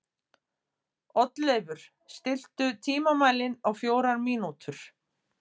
Oddleifur, stilltu tímamælinn á fjórar mínútur.